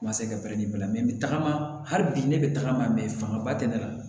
Masakɛ bɛrɛ bɛn tagama hali bi ne bɛ tagama fanga ba tɛ ne la